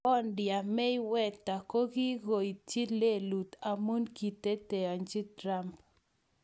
Bondia Mayweather kokiityi lelut amu kiteteanji Trump.